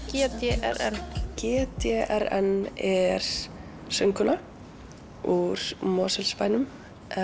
g d r n g d r n er söngkona úr Mosfellsbænum